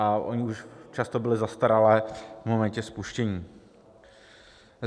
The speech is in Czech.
A ony už často byly zastaralé v momentě spuštění.